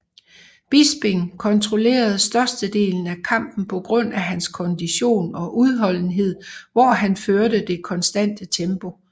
Bisping kontrollerede størstedelen af kampen på grund af hans kondition og udholdenhed hvor han førte det konstante tempo